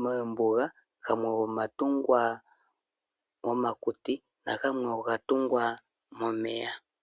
moombuga, gamwe oga tungwa momakuti, na gamwe oga tungwa momeya.